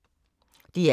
DR K